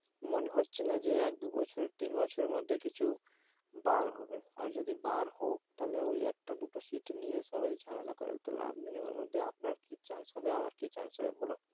মনে হচ্ছে না যে এক দু বছর, তিন বছর এর মধ্যে কিছু বার হবে, আর যদি বার হোক তাহলে ওই একটা দুটো shit নিয়ে সবাই ঝামেলা করে তো লাভ নেই, ওর মধ্যে আপনার কি chance হবে আমার কি chance হবে বোলো?